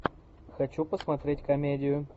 хочу посмотреть комедию